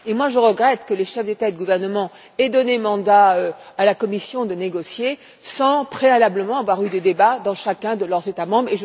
Je regrette que les chefs d'État et de gouvernement aient donné mandat à la Commission de négocier sans, préalablement, avoir eu des débats dans leur propre État membre.